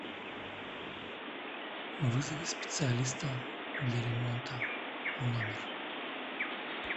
вызови специалиста для ремонта в номер